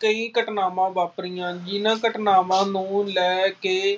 ਕਈ ਘਟਨਾਵਾਂ ਵਾਪਰੀਆਂ ਜਿਹਨਾਂ ਘਟਨਾਵਾਂ ਨੂੰ ਲੈ ਕੇ